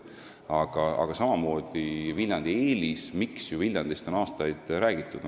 Aga väga selge on veel üks Viljandi eelis, miks on aastaid just Viljandist räägitud.